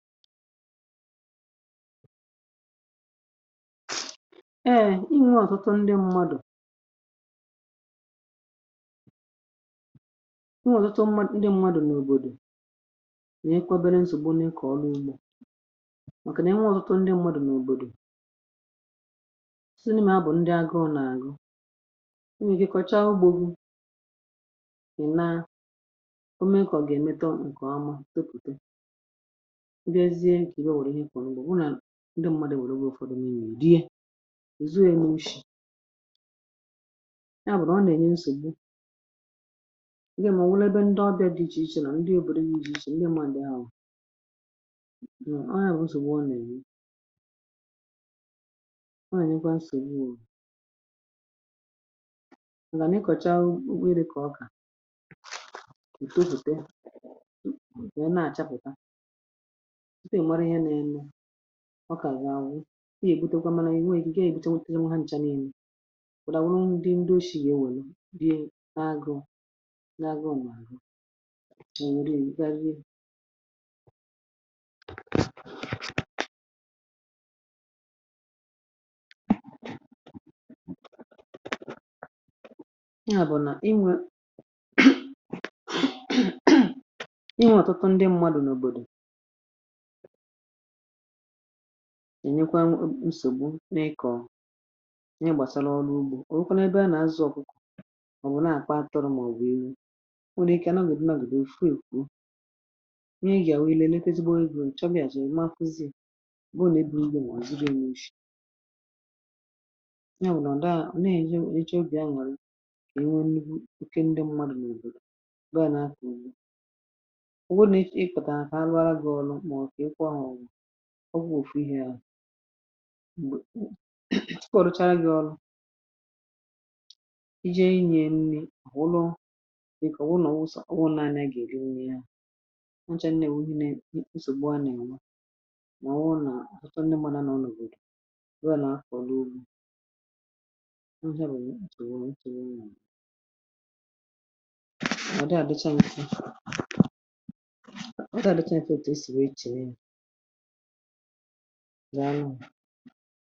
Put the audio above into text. Eė inwe ọtụtụ ndị mmadụ̀ ǹkè, ihe ọ̀ wụrụ, ihe kwọ̀ n’ugbo. Ndị mmadụ̀ wère, weẹ̇ ụfọdụ nii̇nè ùdiẹ, ezughė n’ushi. Ya bụ̀rụ̀ ọ nà-ènye nsògbu. Ị gȧ mà ọ̀ nwụlụ, ebe ndị ọbịȧ dị ichè ichè nọ̀. Ndị òbòdo gị, izù ichè. Ndị mmȧ ǹdị ahụ̀ nọ — à nwònyẹ̀rẹ̀ nsògbu. Ọ nà-ènye. Ọ nà-ènyekwa nsògbu urù, màgà nà ịkọ̀cha ukpo iri̇. Kà ọ, kà ò tofùte, ò too, nà àchapụ̀ta. A na-èkpebì na ndị ụmụ̀ mara ihe n’enu. Ọ ka ga-aṅụ. Ị ga-ebute ụkwalanyi niue ike. Ị ga-ebute, nwetara ha ncha n’elu. Ọ dawụrụ ndị ndị oshi ya ewelu. Bịa, agụ na-agụ ahụ. Ma nwere igarịrị ị abụọ, na inwe ihe. Ọtụtụ ndị mmadụ̀ na obodo, nyekwa nsògbu nà iko. Nye, gbàsa n’ọrụ. Ugbȯ, ọ nwụkwanụ ebe a nà-azụ̇ ọkụkọ̀? Ọ̀ bụ̀ na-àkwaatọrọ, màọbụ̀ iwu̇ nwụrụ ike? A nàgòdù, nàgòdù, ùfu ìkwuù nye. Ị gà àwụ. I leekọzịbụ igwù ǹchọbịà. Jà, èma, kwuzì bụ nà ebù Igbo. Mà ọ̀ ziri nà ishì ya wụ̀nọ̀ nda. Nà-eji eche obì aṅụrị. E nwe nni. Ikė ndị mmadù nà ùbòdò bụ — à nà ha kà ùbò? Ò wụnà echi. Ịkọ̀tà ahụ̀ arụara. Ọ bụrụfu ihe ahụ̀ m̀gbè tụkwà ọ̀dụchara gị̇. Ọla ije nye nni akwụlọ, dịkà ọ wụrụ. Nà ọ wụsọ, ọ wụrụ naanị. A gà-èli nye ya nwanche. Nà-èwuhine, nà-èkwụsògbu. Anà ị nwa nà ọ wụrụ, nà ọ̀họta nne. Gbadà nà ọnù òbòdò. Nwe nà-afọ̀ n’ugbȯ. Nwụ̀nye ǹkè bụ̀, nwèrè ntìrè. Nà ọ dị̀, àdịchaa nsi. Nwèrè adịchaa nsi èfete. E sìwè, e chèrè, nanà.